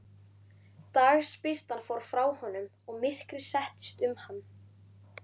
Dagsbirtan fór frá honum og myrkrið settist um hann.